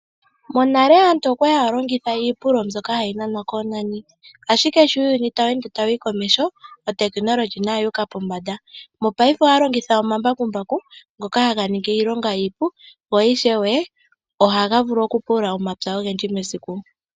Monale aantu okwa li haya longitha iipululo mbyoka hayi nanwa koonani, ashike sho uuyuni tawu ende tawu yi komeho, uutekinolohi nayo oyuuka pombanda. Mopaife aantu ohaya longitha omambakumbaku ngoka haga ningi iilonga iipu, go ishewe ohaga pulula omapya ogendji mesiku.